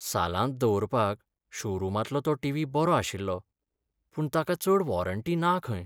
सालांत दवरपाक शोरूमांतलो तो टिव्ही बरो आशिल्लो, पूण ताका चड वॉरंटी ना खंय.